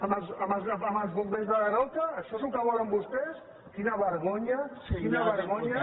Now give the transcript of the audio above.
amb els bombers de daroca això és el que volen vostès quina vergonya quina vergonya